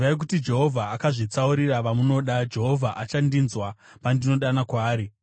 Zivai kuti Jehovha akazvitsaurira vanomuda; Jehovha achandinzwa pandinodana kwaari.